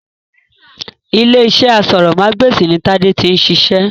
Ilé-iṣẹ́ aṣórómagbesìn ni tade tí ń ṣiṣẹ́